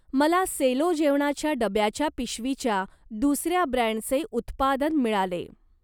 मला सेलो जेवणाच्या डब्याच्या पिशवीच्या दुसर्या ब्रँडचे उत्पादन मिळाले.